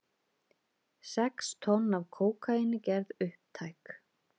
Sex tonn af kókaíni gerð upptæk